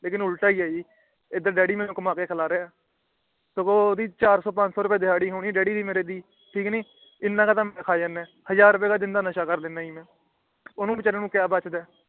ਲੇਕਿਨ ਉਲਟਾ ਹੀ ਹੈ ਜੀ ਇੱਧਰ ਡੱਡੀ ਮੇਨੂ ਕਾਮਾ ਕੇ ਖਿਲਾ ਰਹੀਆਂ ਹੈ ਤੇ ਓਹਦੀ ਚਾਰਸੋ -ਪੰਚਸੋ ਰੁਪਿਆ ਤਿਹਾੜੀ ਹੋਣੀ ਆ ਡੱਡੀ ਮੇਰੇ ਦੀ ਠੀਕ ਨੀ ਇਨਾਕ ਤੇ ਮਈ ਖਾ ਜਾਂਦਾ ਹਾਜ਼ਰ ਰੁਪਿਆ ਦਾ ਤਾ ਮਈ ਨਸ਼ਾ ਕਰ ਜਾਂਦਾ ਓਹਨੂੰ ਬੀਚਾਰੇ ਨੂੰ ਕਿ ਬਚਦਾ ਹੈ